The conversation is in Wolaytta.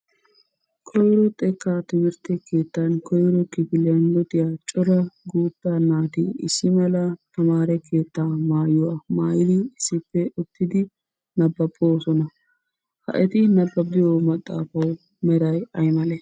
Koyiro xekkaa timirtte keettan koyiro kifiliyan luxiya cora guutta naati issi mala tamaare keettaa mayuwa mayidi issippe uttidi nabbabboosona. Ha eti nabbabbiyo maxxaafawu meray ayimalee?